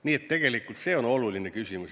Nii et tegelikult see on oluline küsimus.